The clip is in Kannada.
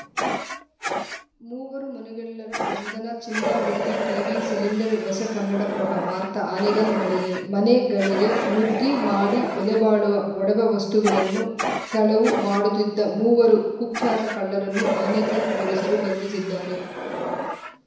ಮೂವರು ಮನೆಗಳ್ಳರ ಬಂಧನ ಚಿನ್ನ ಬೆಳ್ಳಿ ಟಿವಿ ಸಿಲಿಂಡರ್‌ ವಶ ಕನ್ನಡಪ್ರಭ ವಾರ್ತ್ ಆನೇಗ್ಲ್‌ ಮನ್ ಮನೆಗಳಿಗೆ ನುಗ್ಗಿ ಮಾಡಿ ಬೆಲೆ ಬಾಳುವ ಒಡವೆ ವಸ್ತುಗಳನ್ನು ಕಳವು ಮಾಡುತ್ತಿದ್ದ ಮೂವರು ಕುಖ್ಯಾತ ಕಳ್ಳರನ್ನು ಆನೇಕಲ್‌ ಪೊಲೀಸರು ಬಂಧಿಸಿದ್ದಾರೆ